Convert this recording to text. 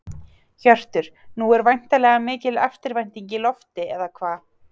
Hjörtur, nú er væntanlega mikil eftirvænting í lofti, eða hvað?